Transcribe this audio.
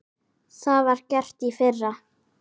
Það var gert í fyrra.